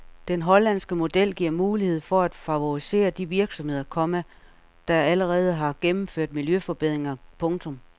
Den hollandske model giver mulighed for at favorisere de virksomheder, komma der allerede har gennemført miljøforbedringer. punktum